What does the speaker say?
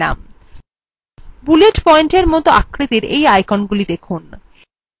bullet point মত আকৃতির you iconsগুলিকে দেখুন